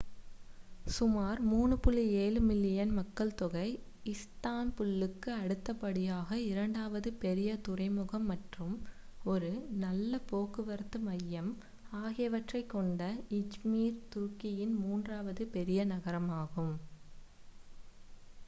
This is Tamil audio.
சுமார் 3.7 மில்லியன் மக்கள்தொகை இஸ்தான்புல்லுக்கு அடுத்தபடியாக இரண்டாவது பெரிய துறைமுகம் மற்றும் ஒரு நல்ல போக்குவரத்து மையம் ஆகியவற்றைக் கொண்ட இஜ்மீர் துருக்கியின் மூன்றாவது பெரிய நகரமாகும்